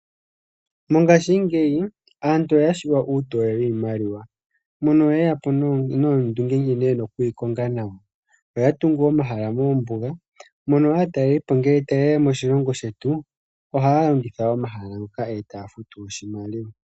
Mongashingeyi aantu oya shiwa uutoye wii maliwa mono nee yeya po noondunge nkene yena oku yi konga nawa. Oya tungu omahala mombuga mono aatalelipo ngele taye ya moshilongo shetu, ohaya longitha omahala nga